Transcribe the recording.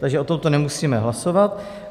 Takže o tomto nemusíme hlasovat.